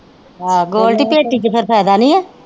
ਆਹੋ ਗੋਲਡੀ ਪੈਟੀ ਚ ਫਿਰ ਫਾਇਦਾ ਨਹੀਂ ਆ।